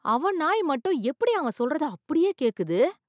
அவன் நாய் மட்டும் எப்படி அவன் சொல்றத அப்படியே கேட்குது!